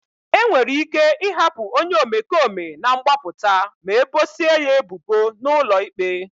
E nwere ike ịhapụ onye omekome na mgbapụta ma ebosia ya ebubo n'ụlọ ikpe.